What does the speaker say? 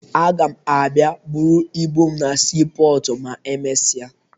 Aga m abịa buru ibu m na siipọọtụ ma emesịa